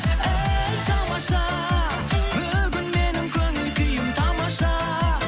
әй тамаша бүгін менің көңіл күйім тамаша